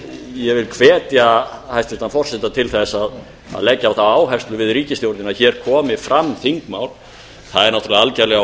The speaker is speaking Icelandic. ég hvet hæstvirtan forseta til að leggja á það áherslu við ríkisstjórnina að hér komi fram þingmál það er algerlega